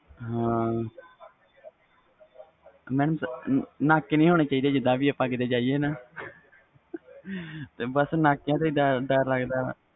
madam ਨਾਕੇ ਨਹੀਂ ਹੋਣੇ ਚਾਹੀਦੇ ਨਾਕਿਆਂ ਤੂੰ ਡਰ ਲੱਗਦਾ ਵ